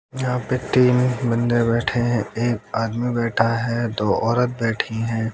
यहां पे तीन बंदे बैठे है एक आदमी बैठा है दो औरत बैठी है।